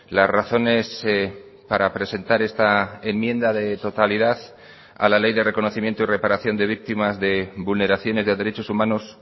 las razones para presentar esta enmienda de totalidad a la ley de reconocimiento y reparación de víctimas de vulneraciones de derechos humanos